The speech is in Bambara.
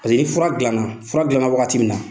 Paseke ni fura dilanna, fura dilanna wagati min na